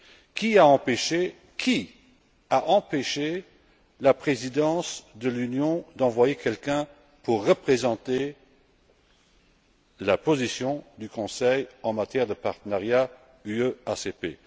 Qui a empêché la Présidence de l'Union d'envoyer quelqu'un pour représenter la position du Conseil en matière de partenariat UE ACP.